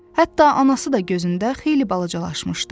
Hətta anası da gözündə xeyli balacalaşmışdı.